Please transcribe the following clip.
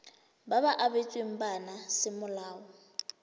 ba ba abetsweng bana semolao